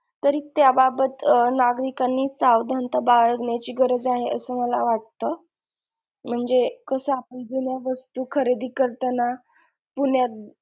तरी त्या बाबत अं नागरिकांनी सावधानता बाळगण्याची गरज आहे अस मला वाटत म्हणजे कस आपण जुन्या वस्तू खरेदी करताना पुण्यात,